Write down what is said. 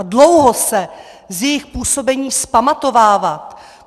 A dlouho se z jejich působení vzpamatovávat!